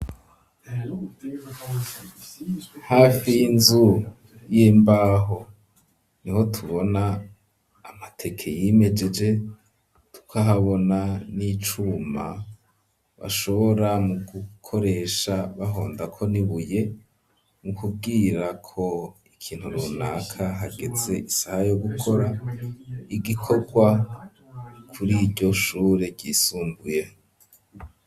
Hafi y'inzu y'imbaho niho tubona amateke yimejeje tukahabona n'icuma bashobora mu gukoresha bahondako n'ibuye mu kubwirako ikintu runaka hageze isaha yo gukora igikorwa kuriryo shure ryisumbuye.